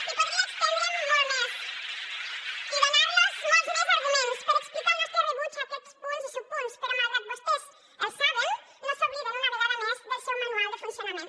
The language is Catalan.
i podria estendre’m molt més i donar los molts més arguments per explicar el nostre rebuig a aquests punts i subpunts però malgrat que vostès els saben no s’obliden una vegada més del seu manual de funcionament